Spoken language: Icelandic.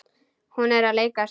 Hún er að leika sér.